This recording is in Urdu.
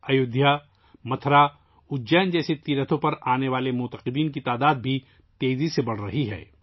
ایودھیا، متھرا، اجین جیسے تیرتھوں پر آنے والے عقیدت مندوں کی تعداد بھی تیزی سے بڑھ رہی ہے